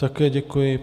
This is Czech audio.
Také děkuji.